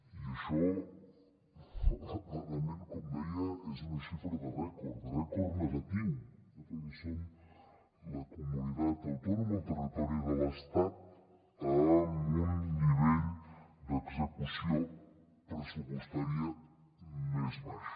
i això clarament com deia és una xifra de rècord de rècord negatiu perquè som la comunitat autònoma el territori de l’estat amb un nivell d’execució pressupostària més baix